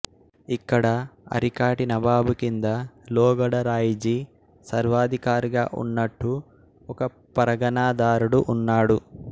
ఇక్కడ అరికాటి నబాబు కింద లోగడ రాయిజీ సర్వాధికారిగా ఉన్నట్టు ఒక పరగణాదారుడు ఉన్నాడు